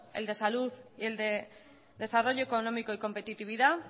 el de salud y el de desarrollo económico y competitividad